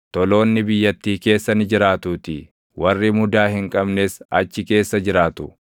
Toloonni biyyattii keessa ni jiraatuutii; warri mudaa hin qabnes achi keessa jiraatu;